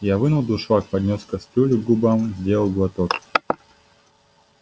я вынул дуршлаг поднёс кастрюлю к губам сделал глоток